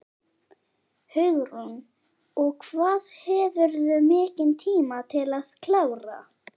Hugrún: Og hvað hefurðu mikinn tíma til að klára?